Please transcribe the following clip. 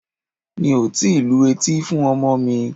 Mi ò tíì lu etí fún ọmọ mi.